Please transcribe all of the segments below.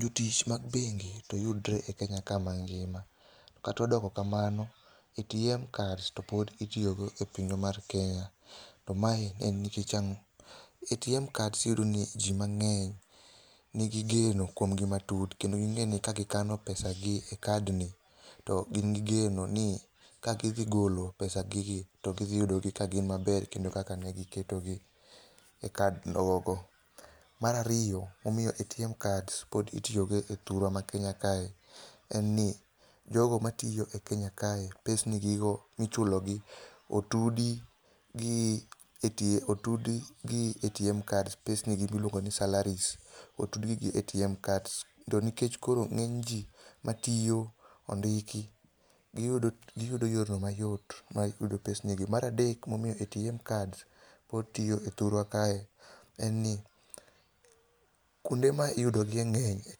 Jotich mag bengi to yudore e Kenya ka mangima. Kata odoko kamano, ATM kads to pod itiyogo e pinywa mar Kenya. To mae en nikech ang'o? ATM kads iyudo ni ji mang'eny nigi geno kuom gi matut kendo ging'eni ka gikano pesagi ne kad ni to gin gi geno ni ka gidhi golo pesagige to gidhiyudo ka gin maber kendo kaka negi ketogi e kad gogo. Mar ariyo ATM kads pod itiyogo e thurwa ma Kenya kae. En ni jogo matiyo e Kenya kae pesni gigo michulogi otud gi ATM kads pesni gi miluongo ni salaries. Otud gi ATM kads. To nikech koro ng'eny ji matiyo ondiki giyudo yorno mayot mar yudo pesni gi. Mar adek momiyo ATM kads pod tiyo e thurwa kae en ni kuonde ma uyudo gie ng'eny e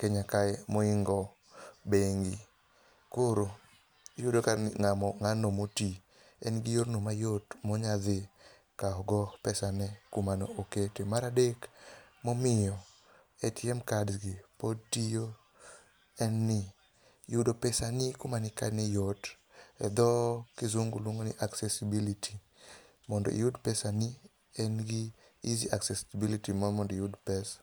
Kenya kae mohingo bengi. Koro iyudo ka ng'ano moti en gi yorno mayot monyalo dhi kawo go pesane kuma ne okete. Mar adeg, momiyo ATM kads gi pod tiyo en ni yudo pesani kumane ikane yot. Edho kisungu luongo ni accessability. Mond iyud pesani en gi easy accessibility ma mond iyud pesacs].